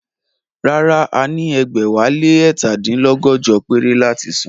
Rárá, a ní ẹgbẹ̀wálé ẹ̀ta dín lọ́gọ́jọ péré láti san